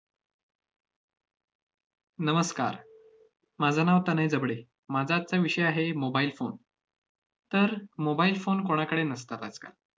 नमस्कार. माझं नाव तनय जबडे. माझा आजचा विषय आहे mobile phone तर, mobile phone कोणाकडे नसतात आजकाल.